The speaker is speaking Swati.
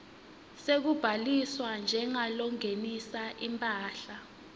sekubhaliswa njengalongenisa imphahla